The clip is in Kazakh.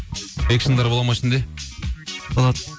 экшндар бола ма ішінде болады